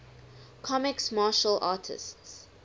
comics martial artists